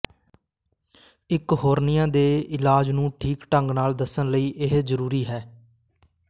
ਇੱਕ ਹੌਰਨੀਆ ਦੇ ਇਲਾਜ ਨੂੰ ਠੀਕ ਢੰਗ ਨਾਲ ਦੱਸਣ ਲਈ ਇਹ ਜਰੂਰੀ ਹੈ